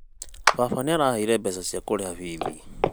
Baba nĩaraheire mbeca cia kũrĩha bithi